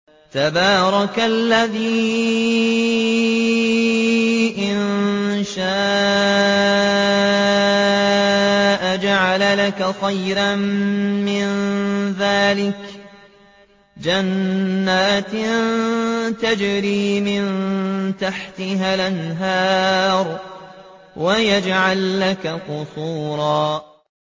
تَبَارَكَ الَّذِي إِن شَاءَ جَعَلَ لَكَ خَيْرًا مِّن ذَٰلِكَ جَنَّاتٍ تَجْرِي مِن تَحْتِهَا الْأَنْهَارُ وَيَجْعَل لَّكَ قُصُورًا